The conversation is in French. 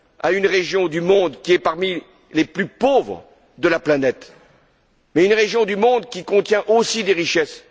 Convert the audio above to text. à une région du monde qui est parmi les plus pauvres de la planète, mais une région qui contient aussi des richesses.